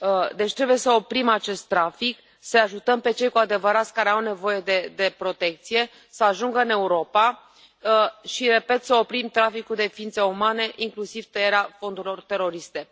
Deci, trebuie să oprim acest trafic, să i ajutăm pe cei care au nevoie de protecție să ajungă în Europa și, repet, să oprim traficul de ființe umane, inclusiv tăierea fondurilor teroriste.